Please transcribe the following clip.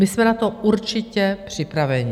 My jsme na to určitě připraveni.